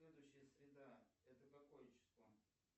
следующая среда это какое число